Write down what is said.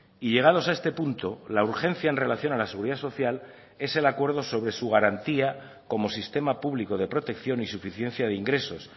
y llegados a este punto la urgencia en relación a la seguridad social es el acuerdo sobre su garantía como sistema público de protección y suficiencia de ingresos